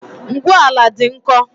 Ngwu ala dị nkọ